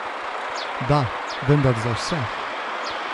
Da, vendar za vse.